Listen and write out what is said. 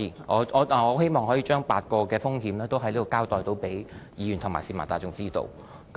我希望可以在此向議員和市民大眾交代8種風險，讓他們知道。